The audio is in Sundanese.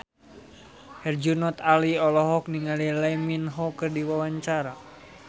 Herjunot Ali olohok ningali Lee Min Ho keur diwawancara